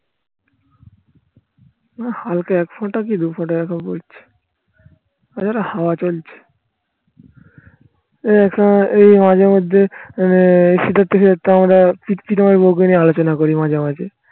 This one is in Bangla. না হালকা একফোঁটা কি দু ফোঁটা এরকম পড়ছে. ওই দেখো হাওয়া চলছে, এই একা এই মাঝে মধ্যে আমরা বউকে নিয়ে আলোচনা করি মাঝে মাঝে